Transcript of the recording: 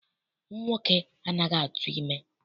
Nwoke anaghị atụ ime.